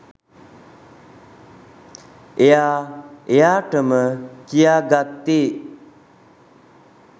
එයා එයාටම කියාගත්තේ